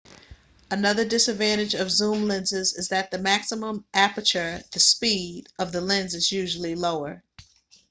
another disadvantage of zoom lenses is that the maximum aperture the speed of the lens is usually lower